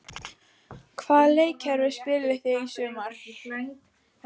Hvaða leikkerfi spilið þið í sumar?